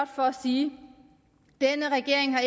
for at sige